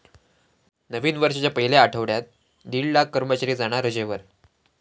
नवीन वर्षाच्या पहिल्या आठवड्यात दीड लाख कर्मचारी जाणार रजेवर!